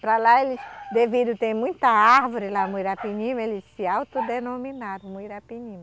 Para lá eles devido ter muita árvore lá, muirapinima, eles se autodenominaram muirapinima.